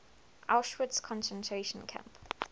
auschwitz concentration camp